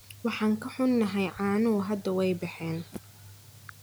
Waan ka xunnahay, caanuhu hadda waa baxeen.